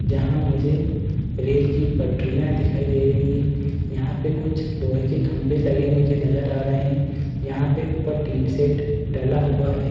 जहाँ मुझे रेल की पटरियाँ दिखाई दे रही हैं। यहाँ पे कुछ लोहे के खम्बे लगे मुझे नज़र आ रहे हैं। यहाँ पे ऊपर टीन सेट डला हुआ है।